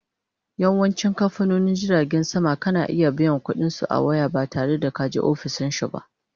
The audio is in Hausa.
Yawancin kamfanonin jiragen sama kana iya biyan ƙuɗi a waya ba tare da kaje ofishinsu ba